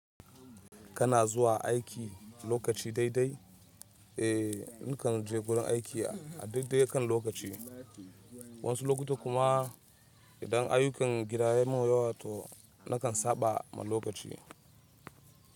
Kana zuwa aiki lokaci daidai? Eh, nakan je gurin aiki a daidai kan lokaci, wasu lokuta kuma idan ayukan gidana ya mun yawa to nakan saɓa ma lokaci.